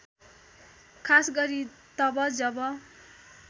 खासगरी तब जब